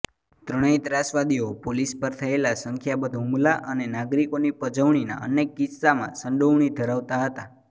ત્રણેય ત્રાસવાદીઓ પોલીસ પર થયેલા સંખ્યાબંધ હુમલા અને નાગરિકોની પજવણીના અનેક કિસ્સામાં સંડોવણી ધરાવતા હતા